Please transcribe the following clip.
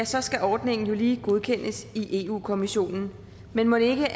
så skal ordningen lige godkendes i europa kommissionen men mon ikke